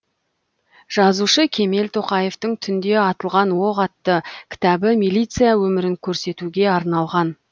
жазушы кемел тоқаевтың түнде атылған оқ атты кітабы милиция өмірін көрсетуге арналған